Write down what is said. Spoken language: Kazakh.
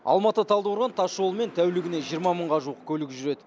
алматы талдықорған тасжолымен тәулігіне жиырма мыңға жуық көлік жүреді